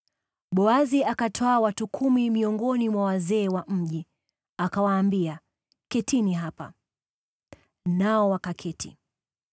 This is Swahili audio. Boazi akatwaa watu kumi miongoni mwa wazee wa mji, akawaambia, “Ketini hapa.” Nao wakaketi.